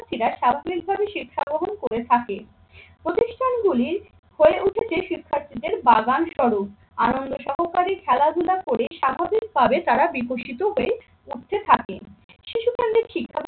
শিক্ষার্থীরা প্রাথমিকভাবে শিক্ষা গ্রহণ করে থাকে। প্রতিষ্ঠানগুলি হয়ে উঠেছে শিক্ষার্থীদের বাগান স্বরূপ আনন্দ সহকারে খেলাধুলা করেই স্বাভাবিকভাবে তারা বিকশিত হয়ে উঠতে থাকে। শিশুকাণ্ডের শিক্ষা